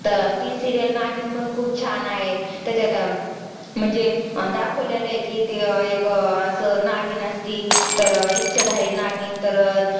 ती serial नागिन पण खूप छान आहे त्याच्यांत अं म्हणजे दाखवले कि तें अं एक असं नागिन असते तर इच्छाधारी नागिन तर अं